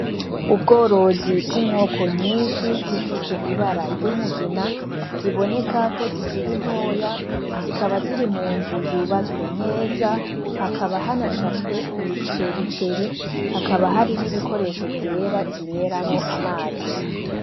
Ubworozi bw'inkoko nyinshi zifise ibara ry'umugina, ziboneka ko zikiri ntoya. Zikaba ziri mu nzu yubatswe neza. Hakaba hanashashwe imicericeri, hakaba hari n'ibikoresho vyera zinyweramwo amazi.